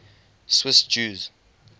swiss jews